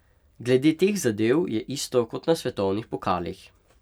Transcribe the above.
Glede teh zadev je isto kot na svetovnih pokalih.